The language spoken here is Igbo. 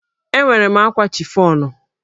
Enwere m ákwà chifọnụ.